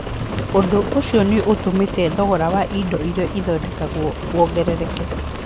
Ũndũ ũcio nĩ ũtũmĩte thogora wa indo iria ithondekagwo wongerereke.